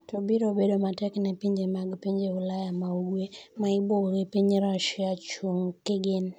to biro bedo matek ne pinje mag pinje Ulaya ma ugwe ,ma ibuogo gi piny Rasia ,chung' kigin